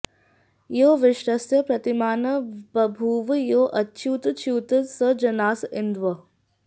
यो विश्वस्य प्रतिमानं बभूव यो अच्युतच्युत् स जनास इन्द्वः